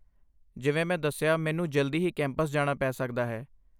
ਜਿਵੇਂ ਮੈਂ ਦੱਸਿਆ, ਮੈਨੂੰ ਜਲਦੀ ਹੀ ਕੈਂਪਸ ਜਾਣਾ ਪੈ ਸਕਦਾ ਹੈ।